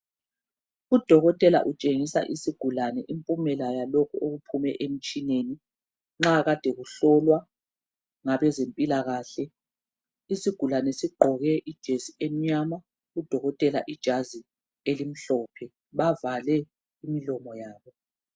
Udokotela utshengisa isigulane imphumela yalokhu okuphuma emtshineni. Nxa kade kuhlolwa ngabezempilakahle. Isigulane sigqoke ijesi emnyama udokotela ijazi elimhlophe bavale imilomo yabo.